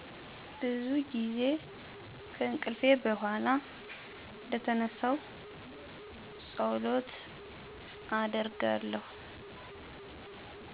ብዙ ጊዜ ከእንቅልፊ በኋላ እደተነሳሁ ፀሎት አደረጋለሁ።